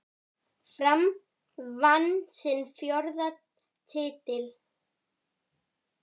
Fram vann sinn fjórða titil.